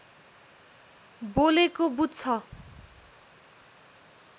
बोलेको बुझ्छ